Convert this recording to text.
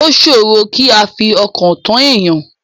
O ṣòrò kí a fi ọkàn tán èèyàn.